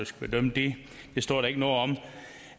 skal bedømme det det står der ikke noget om